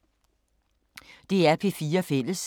DR P4 Fælles